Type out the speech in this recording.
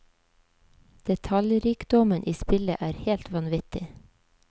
Detaljrikdommen i spillet er helt vanvittig.